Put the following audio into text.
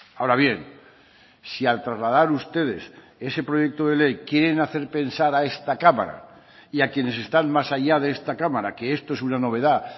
ahora bien si al trasladar ustedes ese proyecto de ley quieren hacer pensar a esta cámara y a quienes están más allá de esta cámara que esto es una novedad